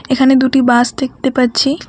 এখানে দুটি বাস দেখতে পাচ্ছি।